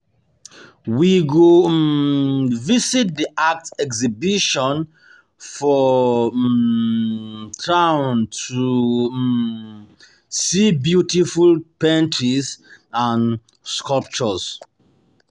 We go um visit the art exhibition for um um town to um see beautiful paintings and sculptures.